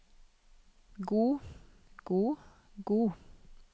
god god god